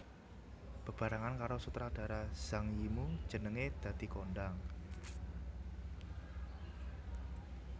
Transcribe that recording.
Bebarengan karo sutradara Zhang Yimou jenengé dadi kondhang